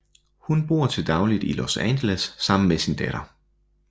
Hun bor til dagligt i Los Angeles sammen med sin datter